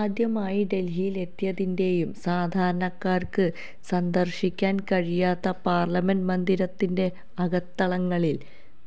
ആദ്യമായി ഡല്ഹിയില് എത്തിയതിന്റെയും സാധാരണക്കാര്ക്ക് സന്ദര്ശിക്കാന് കഴിയാത്ത പാര്ലമെന്റ് മന്ദിരത്തിന്റെ അകത്തളങ്ങളില്